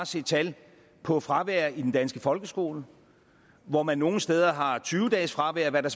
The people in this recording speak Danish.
se tal på fravær i den danske folkeskole hvor man nogle steder har tyve dages fravær hvad der